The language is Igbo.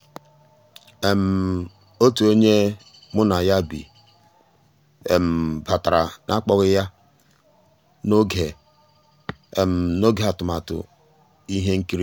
ótú ényí ónyé mu ná yá bì batàrà n'àkpọ́ghị́ yá n'ògé n'ògé àtụ̀màtụ́ íhé nkírí.